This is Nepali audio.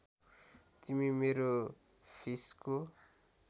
तिमी मेरो फिसको